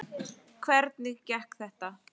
Hvernig gekk þetta?